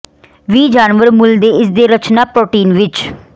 ਵੀ ਜਾਨਵਰ ਮੂਲ ਦੇ ਇਸ ਦੇ ਰਚਨਾ ਪ੍ਰੋਟੀਨ ਵਿੱਚ